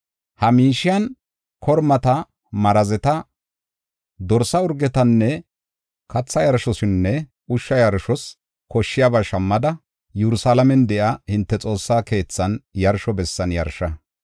Ha miishiyan kormata, marazeta, dorsa urgetanne, katha yarshosinne ushsha yarshos koshshiyaba shammada, Yerusalaamen de7iya hinte Xoossaa keethan yarsho bessan yarsha.